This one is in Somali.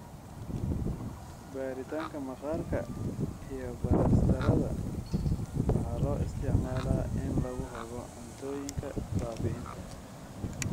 Baaritaanka maqaarka iyo balastarrada waxaa loo isticmaalaa in lagu hago cuntooyinka baabi'inta.